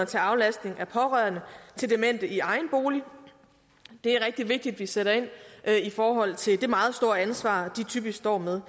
til aflastning af pårørende til demente i egen bolig det er rigtig vigtigt at vi sætter ind i forhold til det meget store ansvar de typisk står med